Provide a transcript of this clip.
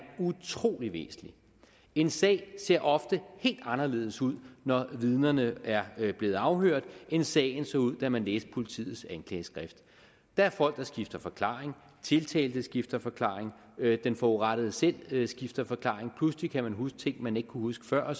utrolig væsentlig en sag ser ofte helt anderledes ud når vidnerne er blevet afhørt end sagen så ud da man læste politiets anklageskrift der er folk der skifter forklaring tiltalte skifter forklaring den forurettede selv skifter forklaring pludselig kan man huske ting man ikke kunne huske før